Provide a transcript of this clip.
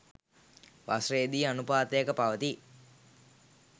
වසරේදී අනුපාතයක පවතී